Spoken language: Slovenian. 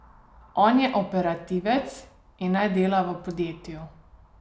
On je operativec in naj dela v podjetju.